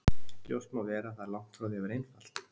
Ljóst má vera að það er langt frá því að vera einfalt.